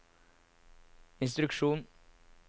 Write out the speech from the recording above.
instruksjon